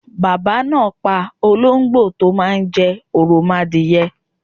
Baba náa pa olóngbò tó máa n jẹ òròmoadìye